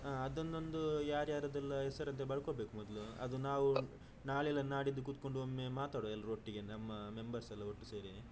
ಹ ಅದನೊಂದು ಯಾರ್ಯಾರದೆಲ್ಲಾ ಹೆಸರು ಬರ್ಕೋಬೇಕು ಮೊದಲು ಅದು ನಾವು ನಾಳೆ ಇಲ್ಲಾದ್ರೆ ನಾಡಿದ್ದು ಕುತ್ಕೊಂಡು ಒಮ್ಮೆ ಮಾತಡುವ ಎಲ್ಲರೂ ಒಟ್ಟಿಗೆ ನಮ್ಮ members ಎಲ್ಲಾ ಒಟ್ಟು ಸೇರಿ.